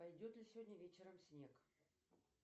пойдет ли сегодня вечером снег